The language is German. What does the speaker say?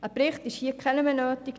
Hier ist kein Bericht mehr nötig.